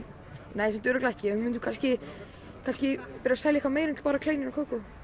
nei samt örugglega ekki við mundum kannski kannski byrja að selja eitthvað meira en bara kleinur og kókó